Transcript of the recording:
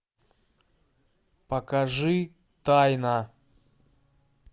покажи тайна